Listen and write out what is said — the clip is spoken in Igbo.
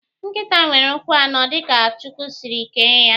Nkịta nwere ụkwụ anọ dịka Chukwu siri kee ya.